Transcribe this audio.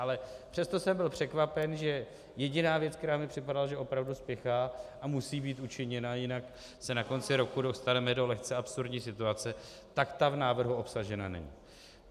Ale přesto jsem byl překvapen, že jediná věc, která mi připadala, že opravdu spěchá a musí být učiněna, jinak se na konci roku dostaneme do lehce absurdní situace, tak ta v návrhu obsažena není.